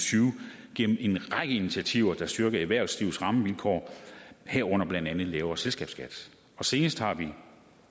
tyve gennem en række initiativer der styrker erhvervslivets rammevilkår herunder blandt andet lavere selskabsskat senest har vi